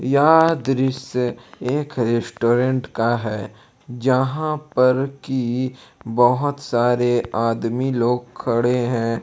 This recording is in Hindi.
यह दृश्य एक रेस्टोरेंट का है यहां पर कि बहुत सारे आदमी लोग खड़े हैं।